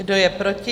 Kdo je proti?